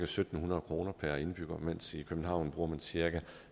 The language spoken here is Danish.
syv hundrede kroner per indbygger mens man i københavn bruger cirka